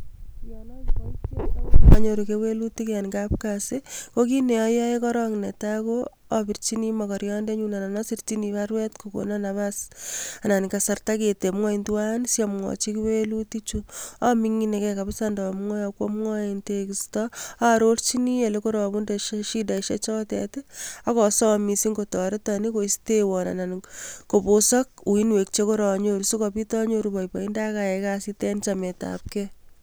Yon akiboitiot akonyoru kewelutik en kasit kokit neayoe korong netaa ko abirchin mokoriondenyun anan asirchin baruet kokonon napas anan kasarta keteb ngweny tuwan siamwochi kewelutichu aming'ineke kabsa ndomwoe ako amwoe en tekisto aarochin elekoabunde shidaisiek akosom missing kotoreton anan koistewon anan kobosok uinwek chekoronyoru sikobit anyoru boiboindo akayai kasit en chametab ge.